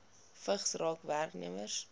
vigs raak werknemers